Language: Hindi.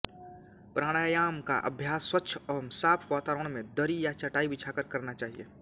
प्राणायाम का अभ्यास स्वच्छ व साफ वातावरण में दरी या चटाई बिछाकर करना चाहिए